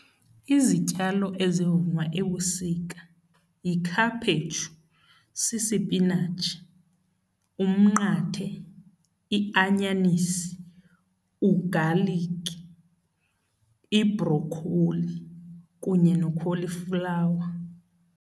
Izityalo ezivunwa ebusika yikhaphetshu, sisipinatshi, umnqathe, ianyanisi, ugaliki, ibrokholi kunye nokholiflawa.